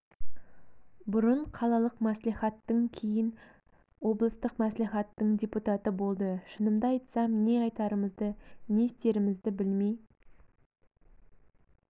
бұрын қалалық мәслихаттың кейін облыстық мәслихаттың депутаты болды шынымды айтсам не айтарымызды не істерімізді білмей